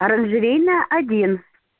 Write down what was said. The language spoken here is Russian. оранжерейная один